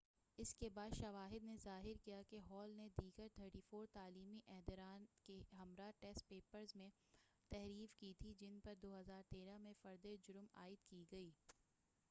اس کے بعد شواہد نے ظاہر کیا کہ ہال نے دیگر 34 تعلیمی عہدیداران کے ہمراہ ٹیسٹ پیپرز میں تحریف کی تھی جن پر 2013 میں فرد جرم عائد کی گئی